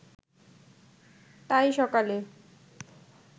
তাই সকালে